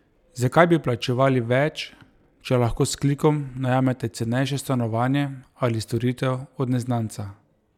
Zakaj bi plačevali več, če lahko s klikom najamete cenejše stanovanje ali storitev od neznanca?